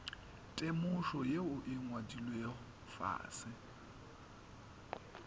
temošo yeo e ngwadilwego fase